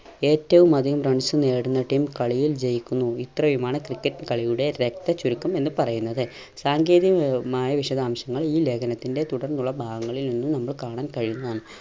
ഏറ്റവും അധികം runs നേടുന്ന team കളിയിൽ ജയിക്കുന്നു. ഇത്രയുമാണ് ക്രിക്കറ്റ് കളിയുടെ രക്തചുരുക്കം എന്ന് പറയുന്നത്. സാങ്കേതികമായ വിശദാംശങ്ങൾ ഈ ലേഖനത്തിന്റെ തുടർന്നുള്ള ഭാഗങ്ങളിൽ നിന്നും നമ്മൾ കാണാൻ കഴിയുന്നതാണ്.